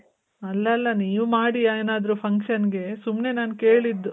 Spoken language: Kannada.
ಅಲಲ್ಲ ನೀವ್ ಮಾಡಿ ಏನಾದ್ರು function ಗೆ ಸುಮ್ನೆ ನಾನ್ ಕೇಳಿದ್ದು